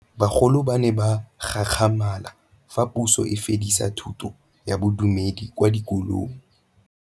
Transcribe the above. Bagolo ba ne ba gakgamala fa Pusô e fedisa thutô ya Bodumedi kwa dikolong.